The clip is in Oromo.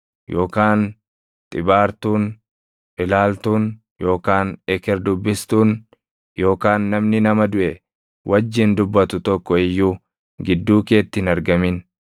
yookaan xibaartuun, ilaaltuun yookaan eker dubbistuun yookaan namni nama duʼe wajjin dubbatu tokko iyyuu gidduu keetti hin argamin.